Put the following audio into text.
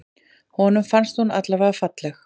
Honum fannst hún alvarlega falleg.